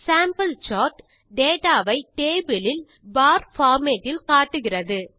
sample chart data ஐ table இல்Bar format இல் காட்டுகிறது